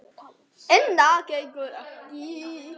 En það gengur ekki.